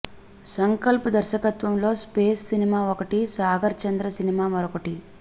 సంకల్ప్ దర్శకత్వంలో space cinema ఒకటి Sagar Chandra cinema మరొకటి